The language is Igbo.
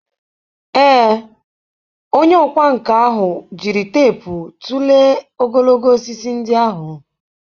Ee, onye ọkwá nkà ahụ jiri teepu tụlee ogologo osisi ndị ahụ.